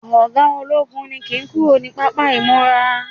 oga ologun ni kin kúrò ni papa imura